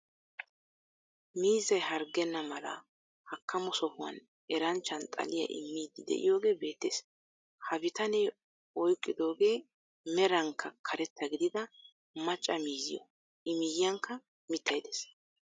Miizzay hargenna mala hakkamo sohuwaan eranchchan xaliyaa immiidi de'iyoogee beettees. Ha bitanee oyqqidooge merankka karetta gidida macca miiziyoo i miyiyaankka mittay de'ees.